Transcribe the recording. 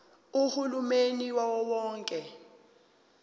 uhulumeni wawo wonke